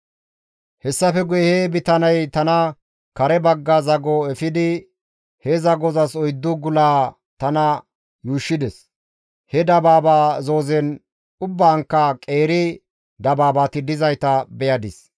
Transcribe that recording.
Hessafe guye he bitaney tana kare bagga zago efidi he zagozas oyddu gulaa tana yuushshides. He dabaaba zoozen ubbankka qeeri dabaabati dizayta beyadis.